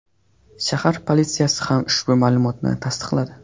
Shahar politsiyasi ham ushbu ma’lumotni tasdiqladi.